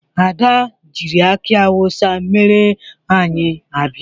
Ada jiịrị akị awụsa mere anyị abịa.